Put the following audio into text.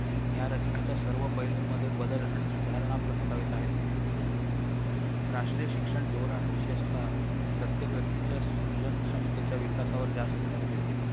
या रचनेच्या सर्व पैलूंमध्ये बदल आणि सुधारणा प्रस्थापित आहेत राष्ट्रीय शिक्षण धोरण विशेषतः प्रत्येक व्यक्तीच्या सृजन क्षमतेच्या विकासावर जास्त भर देते